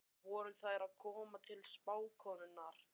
Voru þær að koma til spákonunnar?